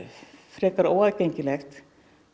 frekar óaðgengilegt